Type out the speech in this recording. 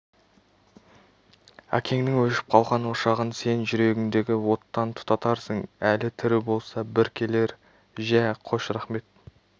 әкеңнің өшіп қалған ошағын сен жүрегіндегі оттан тұтатарсың әлі тірі болса бір келер жә қош рақмет